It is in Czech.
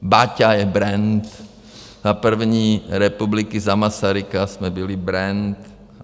Baťa je brand, za první republiky, za Masaryka jsme byli brand.